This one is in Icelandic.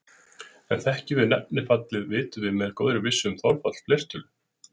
En þekkjum við nefnifallið vitum við með góðri vissu um þolfall fleirtölu.